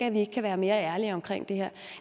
at vi ikke kan være mere ærlige omkring det her